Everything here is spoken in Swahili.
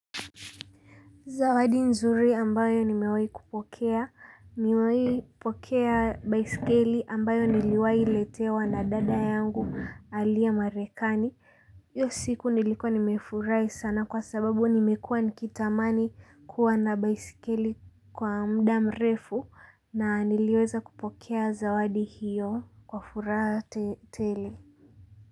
Zawadi nzuri ambayo nimewai kupokea. Nimewai pokea baiskeli ambayo niliwai letewa na dada yangu aliye marekani hiyo siku nilikuwa nimefurahi sana kwa sababu nimekuwa nikithamani kuwa na baiskeli kwa muda mrefu na niliweza kupokea zawadi hiyo kwa furaha tele.